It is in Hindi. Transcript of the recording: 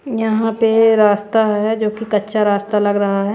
यहां पे रास्ता है जो कि कच्चा रास्ता लग रहा है।